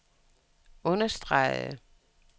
understregede